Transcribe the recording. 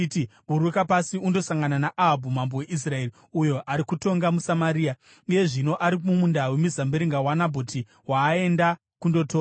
“Buruka pasi undosangana naAhabhu mambo weIsraeri, uyo ari kutonga muSamaria. Iye zvino ari mumunda wemizambiringa waNabhoti, waaenda kundotora.